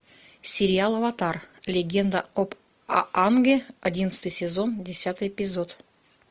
сериал аватар легенда об аанге одиннадцатый сезон десятый эпизод